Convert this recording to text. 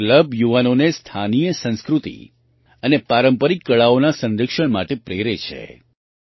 આ ક્લબ યુવાનોને સ્થાનીય સંસ્કૃતિ અને પારંપરિક કળાઓના સંરક્ષણ માટે પ્રેરે છે